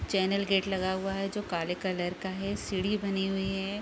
Channel gate लगा हुआ है जो काले कलर का है सीढ़ी बनी हुई है।